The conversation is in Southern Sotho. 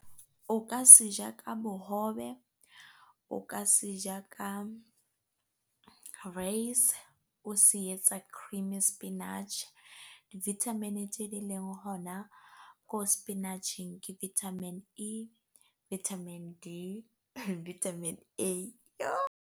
O ka seja ka bohobe, o ka seja ka reise, o se etsa creamy spinach. Di-vitamin tje di leng hona ko spinach-eng ke vitamin E, vitamin D, vitamin A.